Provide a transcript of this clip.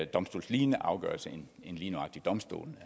domstolslignende afgørelse end lige nøjagtig domstolene